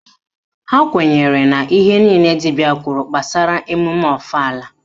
Ha kwenyere na ihe niile dibịa kwuru gbasara emume ọfala